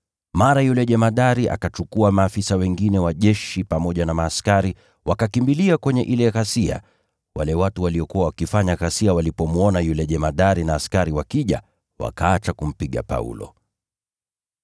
Mara yule jemadari akachukua maafisa wengine wa jeshi pamoja na askari wakakimbilia kwenye ile ghasia, wale watu waliokuwa wakifanya ghasia walipomwona yule jemadari na askari wakija, wakaacha kumpiga Paulo.